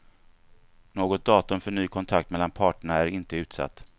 Något datum för ny kontakt mellan parterna är inte utsatt.